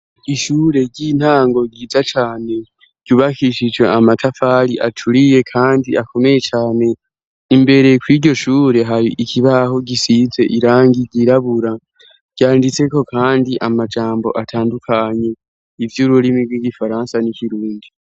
Ishure ry'intango ryiza cane ryubahishije amatafari aturiye kandi akomeye cane. Imbere ku iryo shure, hari ikibaho gisitse irangi ryirabura ryanditse ko kandi amajambo atandukanye iby'ururimi bw'igifaransa n'ikirundi.